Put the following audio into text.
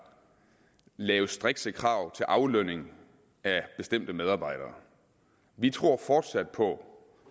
laves strikse krav til aflønning af bestemte medarbejdere vi tror fortsat på